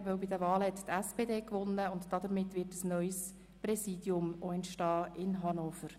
Denn bei den letzten Wahlen hat die SPD gewonnen, und damit wird auch ein neues Präsidium in Hannover entstehen.